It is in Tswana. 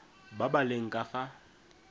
ba ba leng ka fa